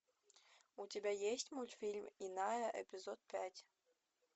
у тебя есть мультфильм иная эпизод пять